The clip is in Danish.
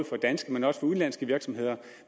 for danske men også for udenlandske virksomheder